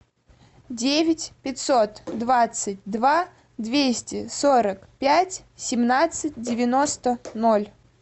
девять пятьсот двадцать два двести сорок пять семнадцать девяносто ноль